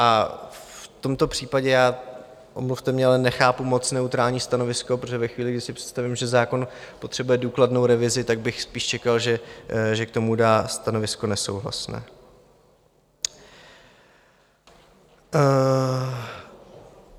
A v tomto případě já - omluvte mě - ale nechápu moc neutrální stanovisko, protože ve chvíli, kdy si představím, že zákon potřebuje důkladnou revizi, tak bych spíš čekal, že k tomu dá stanovisko nesouhlasné.